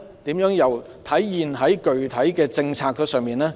又如何體現在具體政策上呢？